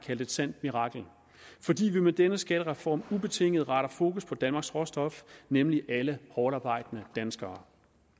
kaldt et sandt mirakel fordi vi med denne skattereform ubetinget retter fokus på danmarks råstof nemlig alle hårdtarbejdende danskere